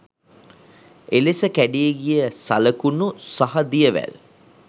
එලෙස කැඩී ගිය සලකුණු සහ දියවැල්